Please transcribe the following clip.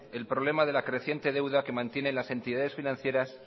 el problema de la creciente deuda que mantienen las entidades financieras